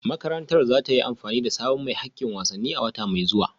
Makarantar za ta yi amfani da sabon mai hakkin wasanni a wata mai zuwa